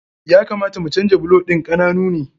Ya kamata mu canja bulo ɗin, ƙananu ne.